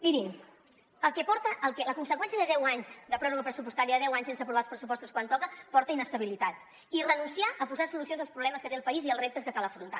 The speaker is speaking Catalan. mirin la conseqüència de deu anys de pròrroga pressupostària de deu anys sense aprovar els pressupostos quan toca porta inestabilitat i renunciar a posar solucions als problemes que té el país i als reptes que cal afrontar